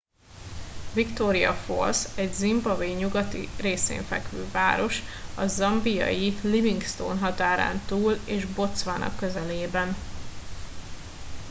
victoria falls egy zimbabwe nyugati részén fekvő város a zambiai livingstone határán túl és botswana közelében